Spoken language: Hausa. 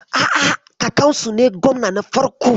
A'a, kakansu ne gwamna na farko.